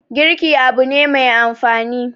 girki Abu na Mai amfani